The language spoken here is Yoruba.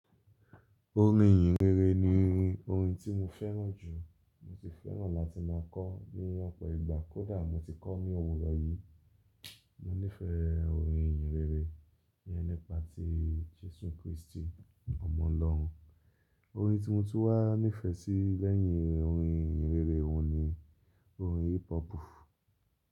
Orin ìhìnrere ni orin tí mo fẹ́ràn jù. Mo sì fẹ́ràn láti má a kọ ọ́ ní ọ̀pọ̀ ìgbà, kódà mo ti kọ́ ọ́ ní òwúrọ̀ yìí. Mo nífẹ̀ẹ́ orin ìhìnrere ìyẹn nípa ti Jésù Kristi ọmọ Ọlọ́run. Orin tí mo tún wá nífẹ̀ẹ́ sí lẹ́yìn orin ìhìnrere òun ni orin hip hop.